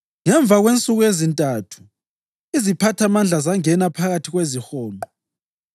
Ngemva kwensuku ezintathu iziphathamandla zangena phakathi kwezihonqo,